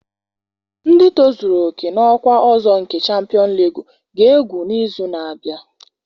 Ndị tozuru oke n'ọkwa ọzọ nke Champions League ga-egwu n'izu na-abịa.